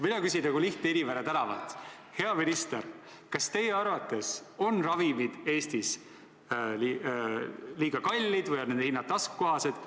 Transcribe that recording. Mina küsin nagu lihtne inimene tänavalt: hea minister, kas teie arvates on ravimid Eestis liiga kallid või on nende hinnad taskukohased?